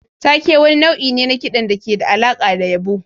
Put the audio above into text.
Take wani nau'i ne na kiɗan da ke da alaƙa da yabo.